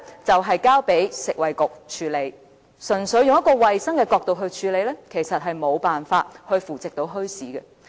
便是交由食物及衞生局處理，但純粹用衞生的角度來處理，其實無法扶植墟市。